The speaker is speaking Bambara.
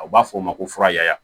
A b'a fɔ o ma ko fura ya